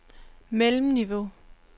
mellemniveau